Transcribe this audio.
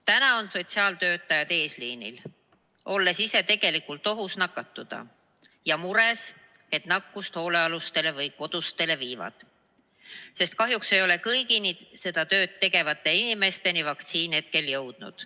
Täna on sotsiaaltöötajad eesliinil, olles ise tegelikult nakatumisohus ja mures, et nakkust hoolealustele või kodustele viivad, sest kahjuks ei ole kõigi seda tööd tegevate inimesteni vaktsiin praegu veel jõudnud.